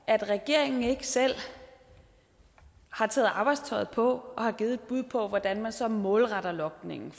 at regeringen ikke selv har taget arbejdstøjet på og har givet et bud på hvordan man så målretter logningen